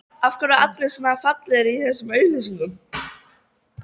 Af hverju eru allir svona fallegir í þessum auglýsingum?